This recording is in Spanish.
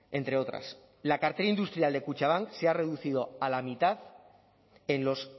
entre otras la cartera industrial de kutxabank se ha reducido a la mitad en los